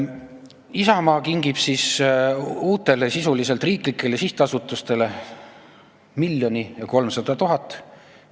Isamaa kingib uutele sisuliselt riiklikele sihtasutustele 1 300 000 eurot.